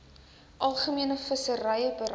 algemene visserye beleid